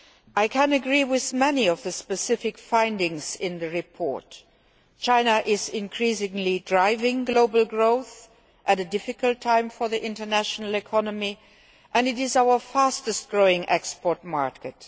I can agree with many of the specific findings in the report. China is increasingly driving global growth at a difficult time for the international economy, and it is our fastest growing export market.